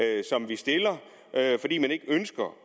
stiller fordi man ikke ønsker